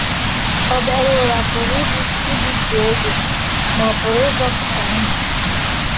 Obere ụra pụrụ igbutụ oge, ma ọ pụrụ ịzọpụta ndụ